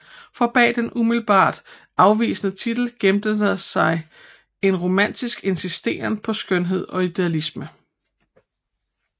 For bag den umiddelbart afvisende titel gemte sig en romantisk insisteren på skønhed og idealisme